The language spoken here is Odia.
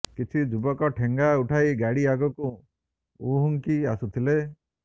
କିଛି ଯୁବକ ଠେଙ୍ଗା ଉଠାଇ ଗାଡ଼ି ଆଗକୁ ଉହୁଙ୍କି ଆସୁଥିଲେ